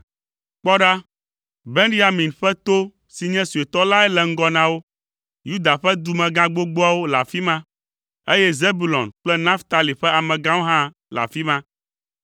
Kpɔ ɖa, Benyamin ƒe to si nye suetɔ lae le ŋgɔ na wo, Yuda ƒe dumegã gbogboawo le afi ma, eye Zebulon kple Naftali ƒe amegãwo hã le afi ma.